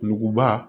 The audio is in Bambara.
Nuguba